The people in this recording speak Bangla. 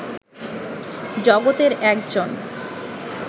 জগতের একজন